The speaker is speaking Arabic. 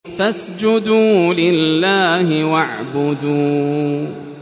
فَاسْجُدُوا لِلَّهِ وَاعْبُدُوا ۩